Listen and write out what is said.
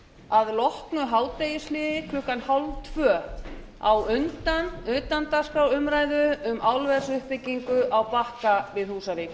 að loknu hádegishléi klukkan hálftvö á undan utandagskrárumræðu um álversuppbyggingu á bakka við húsavík